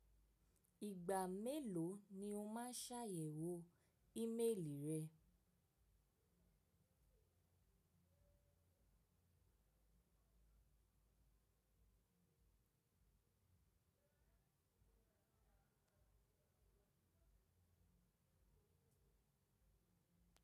Ìgbà mélòó ni o máa ṣàyẹ̀wò ímeèlì rẹ?